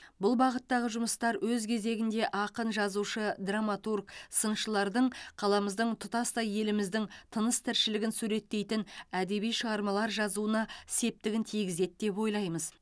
бұл бағыттағы жұмыстар өз кезегінде ақын жазушы драматург сыншылардың қаламыздың тұтастай еліміздің тыныс тіршілігін суреттейтін әдеби шығармалар жазуына септігін тигізеді деп ойлаймыз